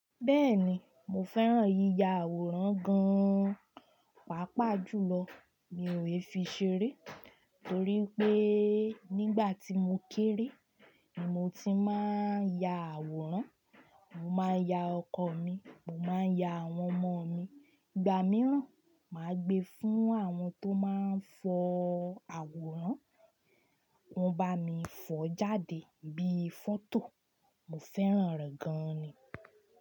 Bẹ́ẹ̀ni, mo fẹ́ràn yíya àwòrán gan-an, pàápàá jùlọ mi ò lè fi ṣeré torí pé nígbà tí mo kéré, ni mo ti máa ń ya àwòrán, mo máa ń ya ọkọ mi, mo máa ń ya àwọn ọmọ mi. Ìgbà mìíràn, màá gbe fún àwọn tó máa ń fọ àwòrán, wọ́n bá mi fọ jáde bí fọ́tò, mo fẹ́ràn rẹ̀ gan-an ni.